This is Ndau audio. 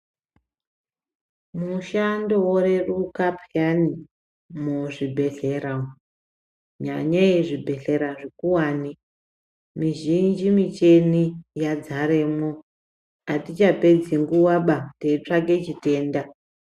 Mushando woreruka peyani muzvibhehlera umo nyanyei zvibhehlera zvikuwane mizhinji michini yadzaremo atichapedzi nguvaba teitsvake chitenda.